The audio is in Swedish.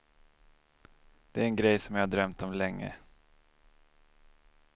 Det är en grej som jag har drömt om länge.